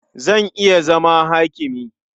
Zan iya zama hakimi.